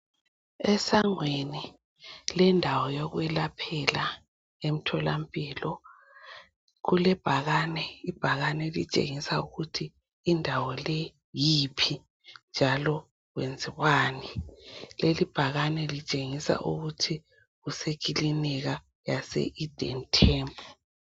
Esangweni lendawo yokwelaphela emtholampilo kulebhakane, ibhakane elitshengisa ukuthi indawo le yiphi njalo kwenziwani. Leli bhakani litshengisa ukuthi kusekilinika yase "Eden Temple".